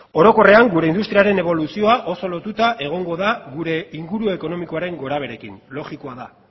orokorrean gure industriaren eboluzioa oso lotuta egongo da gure inguru ekonomikoaren gorabeherekin logikoa da